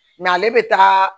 ale bɛ taga